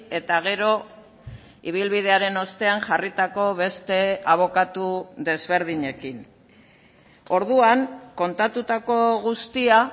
eta gero ibilbidearen ostean jarritako beste abokatu desberdinekin orduan kontatutako guztia